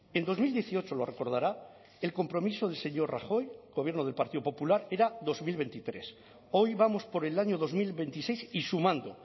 en dos mil dieciocho lo recordará el compromiso del señor rajoy gobierno del partido popular era dos mil veintitrés hoy vamos por el año dos mil veintiséis y sumando